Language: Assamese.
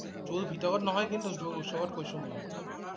zoo ভিতৰত নহয় কিন্তু । zoo ওচৰত কৈছোঁ মই